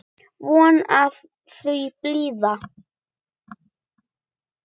Von að það blæði!